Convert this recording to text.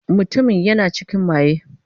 Mutumin yana cikin maye.